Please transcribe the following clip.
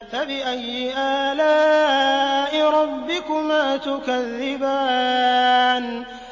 فَبِأَيِّ آلَاءِ رَبِّكُمَا تُكَذِّبَانِ